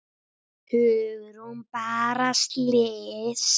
Hugrún: Bara blys?